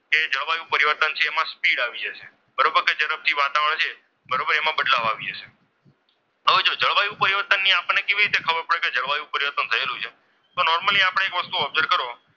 કે જળવાયુ પરિવર્તન છે તેમાં સ્પીડ speed આવી જશે બરોબર તો ઝડપથી વાતાવરણ છે બરોબર એમાં બદલાવ આવી જશે હવે જો જળવાયું પરિવર્તન આપણને કેવી રીતે ખબર પડી? તો જળવાયું પરિવર્તન થયેલું છે તો નોર્મલી આપણે એક વસ્તુ observe કરો,